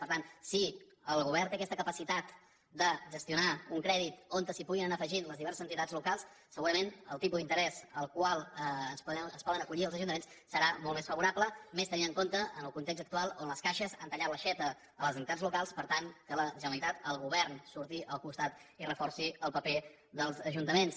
per tant si el govern té aquesta capacitat de gestionar un crèdit on es puguin anar afegint les diverses entitats locals segurament el tipus d’interès al qual es poden acollir els ajuntaments serà molt més favorable i més tenint en compte el context actual on les caixes han tallat l’aixeta a les entitats locals per tant que la generalitat el govern surti al costat i reforci el paper dels ajuntaments